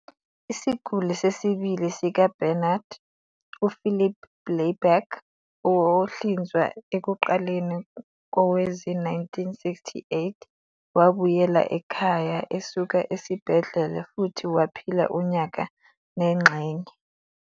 Isiguli sesibili sikaBarnard, UPhilip Blaiberg, ohlinzwa ekuqaleni kowezi-1968, wabuyela ekhaya esuka esibhedlela futhi waphila unyaka nengxenye.